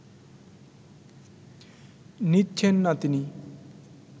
নিচ্ছেন না তিনি